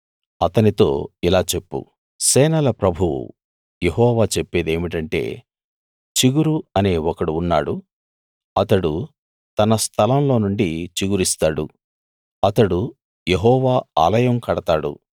అతనితో ఇలా చెప్పు సేనల ప్రభువు యెహోవా చెప్పేదేమిటంటే చిగురు అనే ఒకడు ఉన్నాడు అతడు తన స్థలంలో నుండి చిగురిస్తాడు అతడు యెహోవా ఆలయం కడతాడు